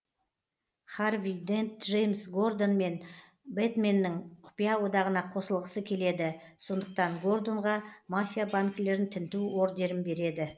харви дент джеймс гордон мен бэтменнің құпия одағына қосылғысы келеді сондықтан гордонға мафия банкілерін тінту ордерін береді